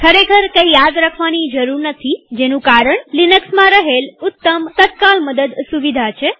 ખરેખર કંઈ યાદ રાખવાની જરૂર નથીજેનું કારણ લિનક્સમાં રહેલ ઉત્તમ તત્કાલ મદદ સુવિધા છે